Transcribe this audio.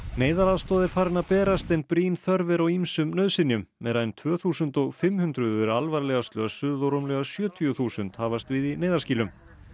neyðaraðstoð er farin að berast en brýn þörf er á ýmsum nauðsynjum meira en tvö þúsund og fimm hundruð eru alvarlega slösuð og rúmlega sjötíu þúsund hafast við í neyðarskýlum